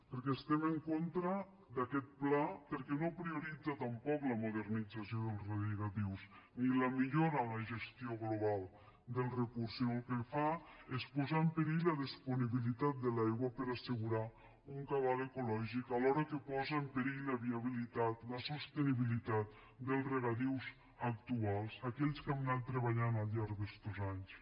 perquè estem en contra d’aquest pla perquè no prioritza tampoc la modernització dels regadius ni la millora en la gestió global del recurs sinó que el que fa és posar en perill la disponibilitat de l’aigua per a assegurar un cabal ecològic alhora que posa en perill la viabilitat la sostenibilitat dels regadius actuals aquells que hem anat treballant al llarg d’estos anys